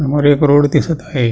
समोर एक रोड दिसत आहे.